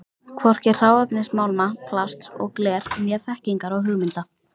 Hvorki hráefnis málma, plasts og glers né þekkingar og hugmynda.